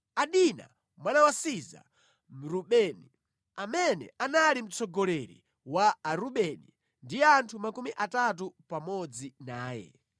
Adina mwana wa Siza Mrubeni, amene anali mtsogoleri wa Arubeni ndi anthu makumi atatu pamodzi naye,